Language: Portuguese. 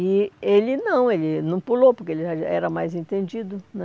E ele não, ele não pulou, porque ele já era mais entendido, né?